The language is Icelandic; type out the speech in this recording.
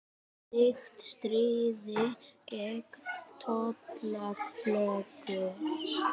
Slíkt stríði gegn tollalögum